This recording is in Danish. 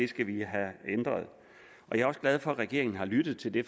skal vi have ændret jeg er også glad for at regeringen har lyttet til det